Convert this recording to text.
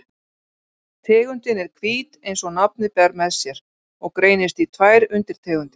Tegundin er hvít eins og nafnið ber með sér og greinist í tvær undirtegundir.